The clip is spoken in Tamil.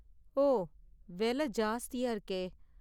ஓ. விலை ஜாஸ்தியா இருக்கே!